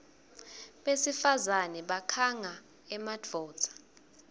besifazane bakhanga emadvodza